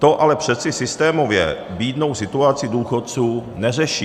To ale přece systémově bídnou situaci důchodců neřeší.